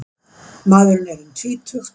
Maðurinn er um tvítugt